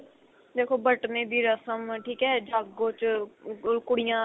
ਦੇਖੋ ਬਟਨੇ ਦੀ ਰਸਮ ਠੀਕ ਹੈ ਜਾਗੋ ਚ ਕੁੜੀਆਂ